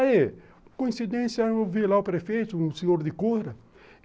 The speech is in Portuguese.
Aí, coincidência, eu vi lá o prefeito, um senhor de cura.